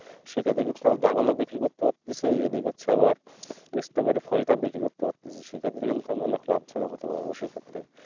সেক্ষেত্রে কি হবে ড্রাগনও বিক্রি করতে পারতেছি এদিকে হচ্ছে আবার স্ট্রবেরী ফলটাও বিক্রি করতে পারতেছি সেক্ষেত্রে কিন্তু আমি অনেক লাভজনক হতে পারবো সেইক্ষেত্রে।